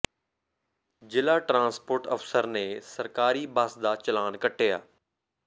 ਜ਼ਿਲ੍ਹਾ ਟਰਾਂਸਪੋਰਟ ਅਫਸਰ ਨੇ ਸਰਕਾਰੀ ਬੱਸ ਦਾ ਚਲਾਨ ਕੱਟਿਆ